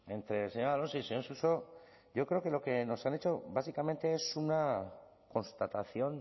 entre el señor alonso y el señor suso yo creo que lo que nos han hecho básicamente es una constatación